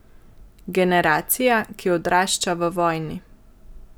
Generacija, ki odrašča v vojni.